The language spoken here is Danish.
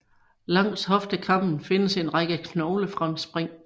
Langs hoftekammen findes en række knoglefremspring